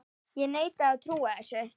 Ég neita að trúa þessu.